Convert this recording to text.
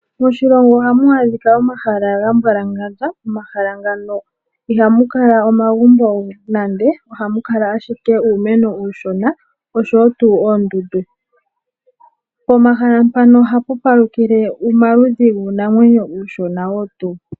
Moshilongo ohamu adhika omahala ga mbwalangandja. Omahala ngano ihamu kala omagumbo nandenande, ohamu kala ashike uumeno uushona oshowo tuu oondundu. Pomahala mpano ohapu palukile omaludhi guunamwenyo uushona wo tuu.